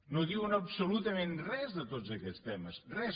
no diuen absolutament res de tots aquests temes res